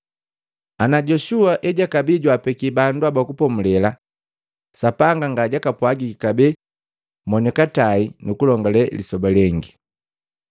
Ana Yoshua ejakabii jwaapeki bandu haba kupomule, Sapanga ngajakapwagiki kabee monikatai kulongale lisoba lengi.